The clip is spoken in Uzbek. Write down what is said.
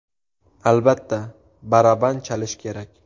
Albatta, baraban chalish kerak .